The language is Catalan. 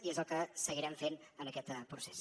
i és el que seguirem fent en aquest procés